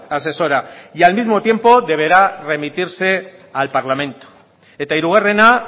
asesora y al mismo tiempo deberá remitirse al parlamento eta hirugarrena